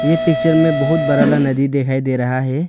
ये पिक्चर में बहुत बड़ा वाला नदी दिखाई दे रहा है।